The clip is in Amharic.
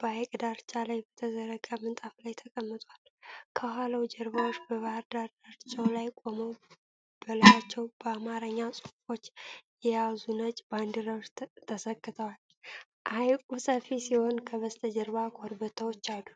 በሐይቅ ዳርቻ ላይ በተዘረጋ ምንጣፍ ላይ ተቀምጧል። ከኋላው ጀልባዎች በባህር ዳርቻው ላይ ቆመው በላያቸው በአማርኛ ጽሑፎች የያዙ ነጭ ባንዲራዎች ተሰክተዋል። ሐይቁ ሰፊ ሲሆን ከበስተጀርባ ኮረብታዎች አሉ።